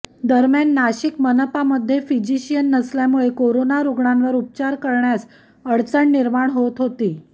दरम्यान नाशिक मनपामध्ये फिजिशियन नसल्यामुळे करोना रुग्णांवर उपचार करण्यास अडचण निर्माण होत होती